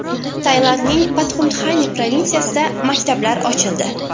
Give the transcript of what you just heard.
Tailandning Patxumtxani provinsiyasida maktablar ochildi.